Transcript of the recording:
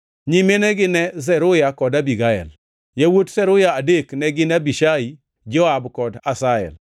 Nyiminegi ne Zeruya kod Abigael. Yawuot Zeruya adek ne gin Abishai, Joab kod Asahel.